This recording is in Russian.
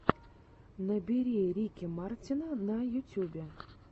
набери рики мартина на ютюбе